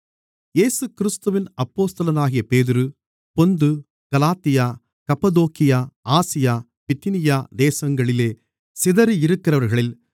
இயேசுகிறிஸ்துவின் அப்போஸ்தலனாகிய பேதுரு பொந்து கலாத்தியா கப்பத்தோக்கியா ஆசியா பித்தினியா தேசங்களிலே சிதறியிருக்கிறவர்களில்